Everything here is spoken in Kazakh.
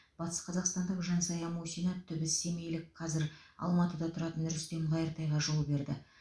батысқазақстандық жансая мусина түбі семейлік қазір алматыда тұратын рүстем қайыртайға жол берді